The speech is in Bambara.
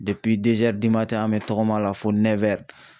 an bɛ tɔgɔma la fo